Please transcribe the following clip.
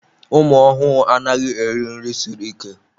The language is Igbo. Ụmụ ọhụrụ anaghị eri nri siri ike.